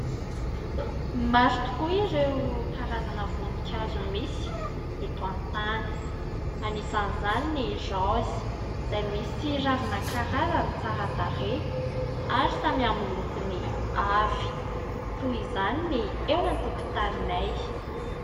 Maro tokoa ireo karazana voninkazo misy eto an-tany, anisan'izany ny raozy izay misy ravina karazany tsara tarehy ary samy amin'ny lokony avy toy izany ny eo an-tokontaninay.